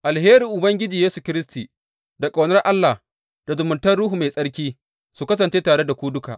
Alherin Ubangiji Yesu Kiristi, da ƙaunar Allah, da zumuntar Ruhu Mai Tsarki su kasance tare da ku duka.